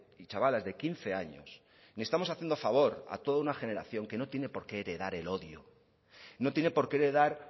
y chavalas de quince años ni estamos haciendo favor a toda una generación que no tiene porqué heredar el odio no tiene porqué heredar